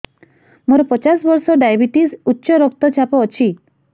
ମୋର ପଚାଶ ବର୍ଷ ଡାଏବେଟିସ ଉଚ୍ଚ ରକ୍ତ ଚାପ ଅଛି